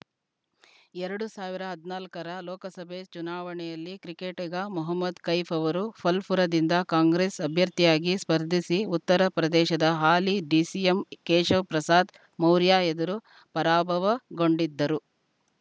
ಎರಡು ಸಾವಿರದ ಹದ್ ನಲ್ಕಾರ ಲೋಕಸಭೆ ಚುನಾವಣೆಯಲ್ಲಿ ಕ್ರಿಕೆಟಿಗ ಮೊಹಮ್ಮದ್‌ ಕೈಫ್‌ ಅವರು ಫಲ್‌ಪುರದಿಂದ ಕಾಂಗ್ರೆಸ್‌ ಅಭ್ಯರ್ಥಿಯಾಗಿ ಸ್ಪರ್ಧಿಸಿ ಉತ್ತರಪ್ರದೇಶದ ಹಾಲಿ ಡಿಸಿಎಂ ಕೇಶವಪ್ರಸಾದ್‌ ಮೌರ್ಯ ಎದುರು ಪರಾಭವಗೊಂಡಿದ್ದರು